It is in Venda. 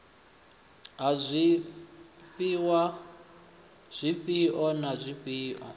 ha zwifhiwa zwifhio na zwifhio